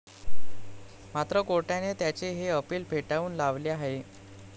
मात्र कोर्टाने त्यांचे हे अपील फेटाळून लावले आहे.